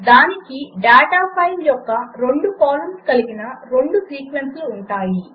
దానికి data file యొక్క రెండు కాలమ్స్ కలిగిన రెండు సీక్వెన్స్లు ఉంటాయి